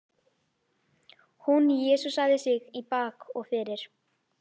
Hún jesúsaði sig í bak og fyrir.